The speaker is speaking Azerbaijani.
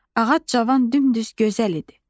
Ağac cavan, dümdüz, gözəl idi.